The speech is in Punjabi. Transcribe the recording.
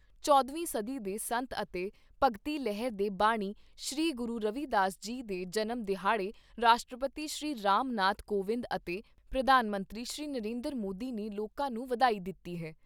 ਚੌਦਵੀਂ ਸਦੀ ਦੇ ਸੰਤ ਅਤੇ ਭਗਤੀ ਲਹਿਰ ਦੇ ਬਾਨੀ ਸ਼੍ਰੀ ਗੁਰੂ ਰਵੀ ਦਾਸ ਜੀ ਦੇ ਜਨਮ ਦਿਹਾੜੇ ਰਾਸ਼ਟਰਪਤੀ ਸ਼੍ਰੀ ਰਾਮ ਨਾਥ ਕੋਵਿੰਦ ਅਤੇ ਪ੍ਰਧਾਨ ਮੰਤਰੀ ਸ਼੍ਰੀ ਨਰਿੰਦਰ ਮੋਦੀ ਨੇ ਲੋਕਾਂ ਨੂੰ ਵਧਾਈ ਦਿੱਤੀ ਹੈ।